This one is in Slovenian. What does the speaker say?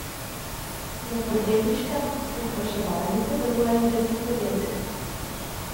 V podjetniškem pospeševalniku deluje že deset podjetij.